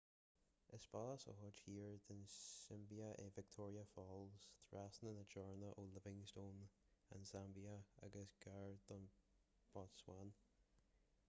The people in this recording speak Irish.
is baile sa chuid thiar den tsiombáib é victoria falls trasna na teorann ó livingstone an tsaimbia agus gar don bhotsuáin